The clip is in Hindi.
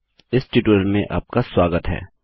इस ट्यूटोरियल में आपका स्वागत है